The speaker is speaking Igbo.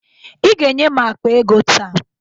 Ị ga-enye m akpa ego taa!